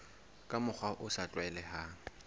ka mokgwa o sa tlwaelehang